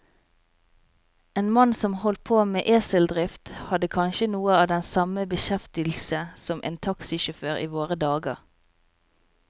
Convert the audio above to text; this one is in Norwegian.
En mann som holdt på med eseldrift, hadde kanskje noe av den samme beskjeftigelse som en taxisjåfør i våre dager.